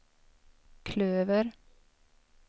klöver